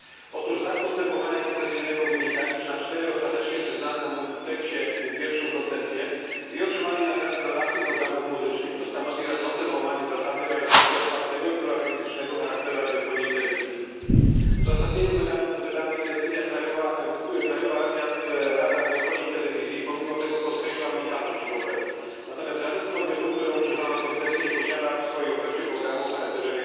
Otóż z akt postępowania koncesyjnego wynika, iż na 4 ostatecznie przyznane na multipleksie koncesje 2 otrzymali nadawcy programów muzycznych, co stanowi rażące złamanie zasady realizacji otwartego i pluralistycznego charakteru radiofonii i telewizji. W uzasadnieniu wydanej decyzji Krajowa Rada Radiofonii i Telewizji pomimo tego podkreśla unikalność ich oferty, natomiast żaden z podmiotów, którym przyznano koncesję, nie posiada w swojej ofercie programu o charakterze